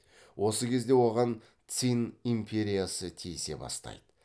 осы кезде оған цинь империясы тиісе бастайды